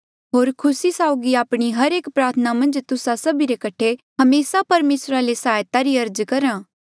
होर खुसी साउगी आपणी हर एक प्रार्थना मन्झ तुस्सा सभी रे कठे हमेसा परमेसरा ले सहायता री अर्ज करहा